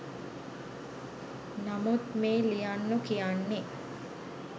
නමුත් මේ ලියන්නො කියන්නෙ